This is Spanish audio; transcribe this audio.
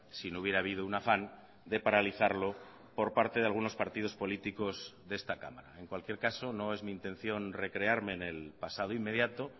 si no hubiera habido un afán de paralizarlo por parte de algunos partidos políticos de esta cámara en cualquier caso no es mi intención recrearme en el pasado inmediato